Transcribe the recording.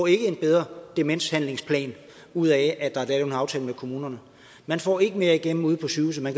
ikke en bedre demenshandlingsplan ud af at der er lavet en aftale med kommunerne man får ikke mere igennem ude på sygehusene